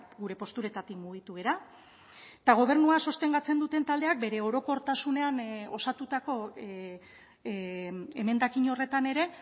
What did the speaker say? gure posturetatik mugitu gara eta gobernua sostengatzen duten taldeak bere orokortasunean osatutako emendakin horretan ere